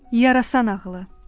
Yarasa nağılı.